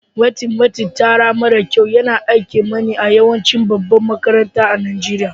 Matsatsin tsara mara kyau yana a'kimani a yawancin babban makarantan Nijeriya.